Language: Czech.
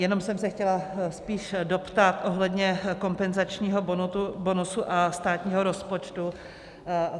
Jenom jsem se chtěla spíš doptat ohledně kompenzačního bonusu a státního rozpočtu.